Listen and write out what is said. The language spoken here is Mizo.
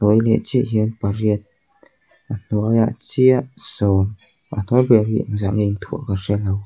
hnuai leh chiah hian pariat a hnuaiah chiah sawm a hnuai ber hi engzah nge inthuah ka hre lo.